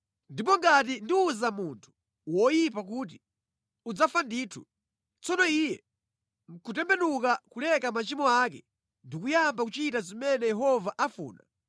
Ndipo ngati ndiwuza munthu woyipa kuti, ‘Udzafa ndithu,’ tsono iye nʼkutembenuka kuleka machimo ake ndi kuyamba kuchita zimene Yehova afuna,